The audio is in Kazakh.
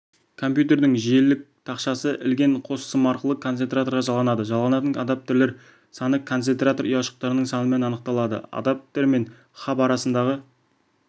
компьютердің желілік тақшасы ілген қос сым арқылы концентраторға жалғанады жалғанатын адаптерлер саны концентратор ұяшықтарының санымен анықталады адаптер мен хаб арасындағы